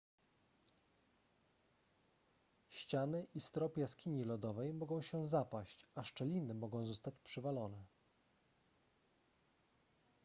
ściany i strop jaskini lodowej mogą się zapaść a szczeliny mogą zostać przywalone